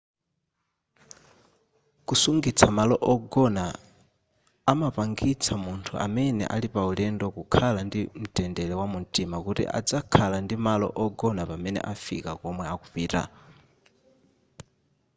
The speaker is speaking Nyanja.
kusungitsa malo ogona amapangitsa munthu amene ali paulendo kukhala ndi mtendere wamumtima kuti adzakhala ndi malo ogona pamene afika komwe akupita